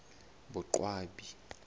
boqwabi